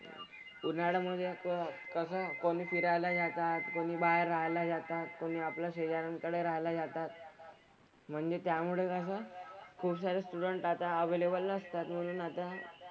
उन्हाळ्यामधे पण कसं कोणी फिरायला जातात, कोणी बाहेर राहायला जातात, कोणी आपल्या शेजाऱ्यांकडे राहायला जातात. म्हणजे त्यामुळे कसं खुपसारे student आता available नसतात म्हणून आता,